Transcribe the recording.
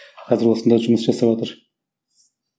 қазір осында жұмыс жасаватыр